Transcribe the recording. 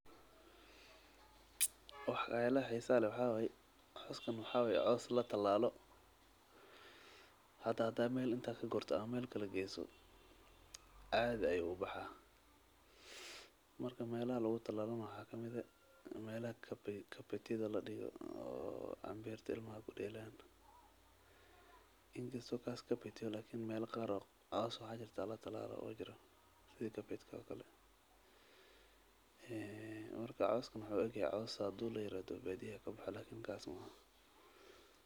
Wax kaa la xisaalo, waxa way, cooskan waxa way coos la talaalo. Hada hada meel inta ka gurtsan ama meelka la geeso, caadi ay u baxaa. Marka meelo lagu talaalo maxaa ka mida meel aad carpet la dhigo oo ambiirta ilmaa gu dheelan. Inta sukaas carpet laakin meel qaaroo coos waxa jirta la talaalo oo ojro sidii carpet oo kala. Eee markaa cooskana maxa uu igay coos saddoo layra badbaadiyey kab xali laakin kaasmaha.